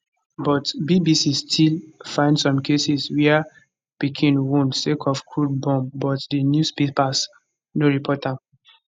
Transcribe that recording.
but bbc still find some cases wia pikin wound sake of crude bomb but di newspapers no report am